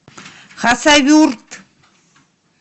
хасавюрт